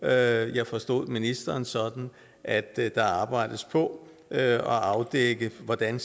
jeg forstod ministeren sådan at der arbejdes på at afdække hvordan